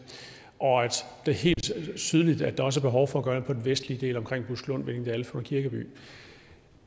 og at det er helt tydeligt at der også er behov for gøre det på den vestlige del omkring buskelund hvinningdal og funder kirkeby